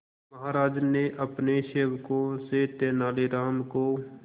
महाराज ने अपने सेवकों से तेनालीराम को